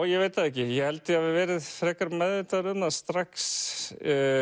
ég veit það ekki ég held ég hafi verið frekar meðvitaður um það strax